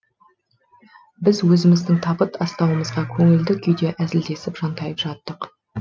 біз өзіміздің табыт астауымызға көңілді күйде әзілдесіп жантайып жаттық